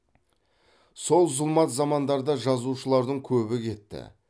сол зұлмат замандарда жазушылардың көбі кетті